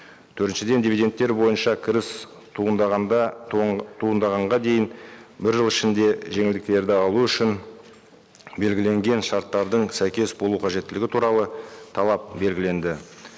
төртіншіден дивиденттер бойынша кіріс туындағанда туындағанға дейін бір жыл ішінде жеңілдіктерді алу үшін белгіленген шарттардың сәйкес болу қажеттілігі туралы талап белгіленді